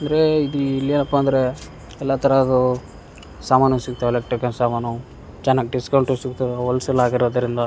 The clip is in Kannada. ಅಂದ್ರೆ ಇಲ್ಲಿ ಇಲ್ಲಿಯಪ್ಪ ಅಂದ್ರೆ ಎಲ್ಲಾತರದ್ದು ಸಾಮಾನು ಸಿಗ್ತವೆ ಎಲೆಕ್ಟ್ರಿಕಲ್ ಸಾಮಾನು ಚನ್ನಾಗ್ ಡಿಸ್ಕೌಂಟು ಸಿಗತ್ತೆ ಹೊಲ್ಲ್ಸಲ್ ಆಗಿರೋದ್ರಿಂದ.